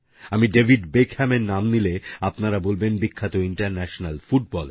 আমি ডেভিড বেকহ্যামের নাম নিলে আপনারা বলবেন বিখ্যাত ইন্টারন্যাশনাল ফুটবলের